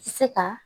Se ka